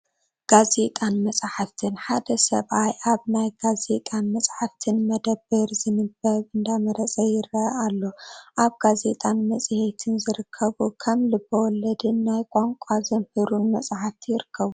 ጋዜጣን መፅሓፍትን፡- ሓደ ሰብኣይ ኣብ ናይ ጋዜጣን መፅሓፍትን መደብር ዝንበብ እንዳመረፀ ይረአ ኣሎ፡፡ ኣብ ጋዜጣን መፅሄትን ዝርከቡ ከም ልበ ወለድን ናይ ቋንቋ ዘምህሩን መፅሓፍቲ ይርከቡ፡፡